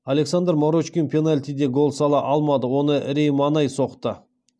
александр марочкин пенальтиде гол сала алмады оны рей манай соқты